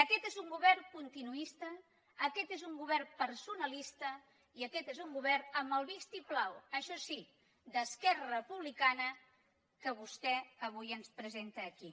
aquest és un govern continuista aquest és un govern personalista i aquest és un govern amb el vistiplau això sí d’esquerra republicana que vostè avui ens presenta aquí